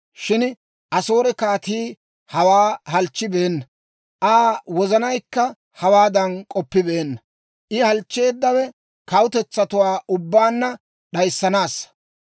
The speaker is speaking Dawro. Shin Asoore kaatii hawaa halchchibeenna; Aa wozanaykka hawaadan k'oppibeenna. I halchcheeddawe kawutetsatuwaa ubbaanna d'ayissanaassa.